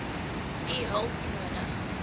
u hulp nodig